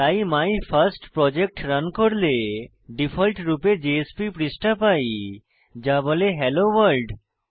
তাই my first project run করলে default রূপে জেএসপি পৃষ্ঠা পাই যা বলে HelloWorld